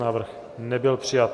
Návrh nebyl přijat.